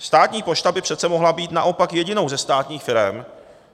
Státní pošta by přece mohla být naopak jedinou ze státních firem,